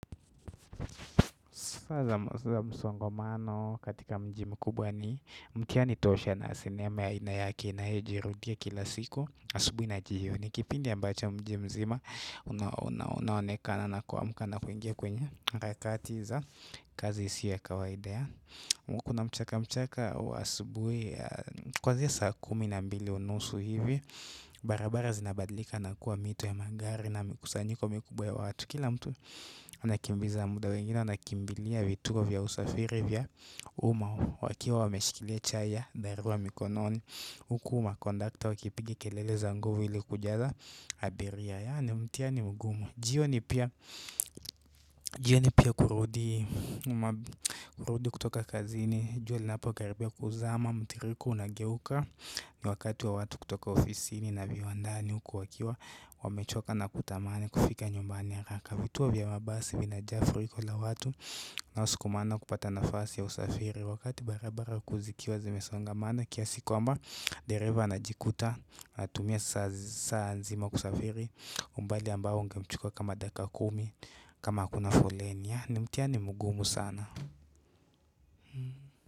Saa zamsongomano katika mjii mkubwa ni mtihani tosha na sinema ya aina yake inayojirudia kila siku asubui na jioni ni kipindi ambacho mji mzima unaonekana na kuamka na kuingia kwenye harakati za kazi si ya kawaida kuna mchaka mchaka wa asubui kwanzia saa kumi na mbili unusu hivi barabara zinabadlika nakua mito ya magari na mikusanyiko mikubwa ya watu kila mtu anakimbiza muda wengine wanakimbilia vituo vya usafiri vya umma wakiwa wameshikilia chai ya dharura mikononi huku makondakta wakipiga kelele za nguvu ili kujaza abiria yaani mtihani mgumu jioni pia jioni pia kurudi kurudi kutoka kazini jua linapo karibia kuzama mtiririko unageuka ni wakati wa watu kutoka ofisini na viwandani huku wakiwa amechoka na kutamani kufika nyumbani haraka. Vituo vya mabasi vinajaa furiko la watu wanao sukumana kupata nafasi ya usafiri wakati barabara kuu zikiwa zimesongamana kiasi kwamba dereva anajikuta anatumia saa nzima kusafiri umbali ambao ungemchukuwa kama dakika kumi kama hakuna foleni ni mtihani mgumu sana.